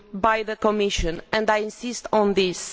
by the Commission and I insist on this.